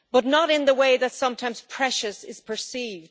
Not in the way that sometimes precious is perceived